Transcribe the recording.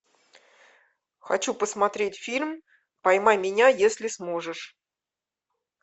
хочу посмотреть фильм поймай меня если сможешь